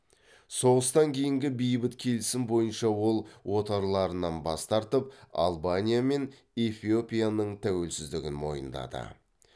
соғыстан кейінгі бейбіт келісім бойынша ол отарларынан бас тартып албания мен эфиопияның тәуелсіздігін мойындады